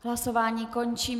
Hlasování končím.